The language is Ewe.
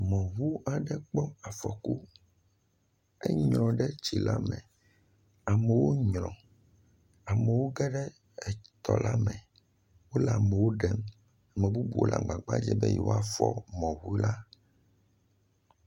Mɔŋu aɖe kpɔ afɔku. Enyrɔ̃ ɖe tsila me. Amewo nyrɔ̃, amewo ge ɖe tɔla me, wole amewo ɖem. Ame bubuwo le agbagba dzem yewoafɔ̃ mɔ̃ŋula.